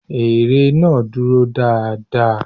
Ère náà dúró dáa dáa.